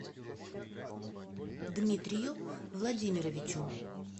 дмитрию владимировичу